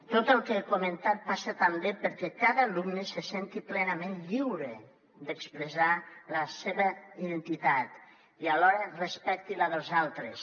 tot el que he comentat passa també perquè cada alumne se senti plenament lliure d’expressar la seva identitat i alhora respecti la dels altres